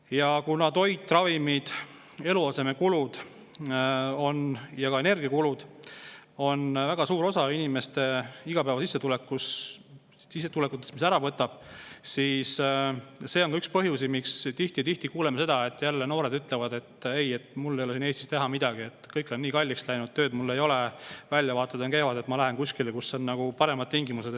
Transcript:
Ja kuna toit, ravimid, eluasemekulud ja ka energiakulud võtavad väga suure osa inimeste igapäevasissetulekutest, siis see on üks põhjus, miks me tihti kuuleme, et noored ütlevad, et mul ei ole siin Eestis midagi teha, kõik on nii kalliks läinud, tööd mul ei ole, väljavaated on kehvad, ma lähen kuskile, kus on nagu paremad tingimused.